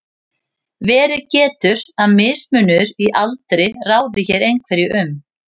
verið getur að mismunur í aldri ráði hér einhverju um